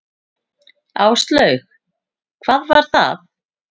Áslaug: Hvað var það?